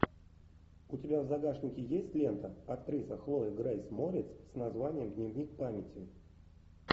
у тебя в загашнике есть лента актриса хлоя грейс морец с названием дневник памяти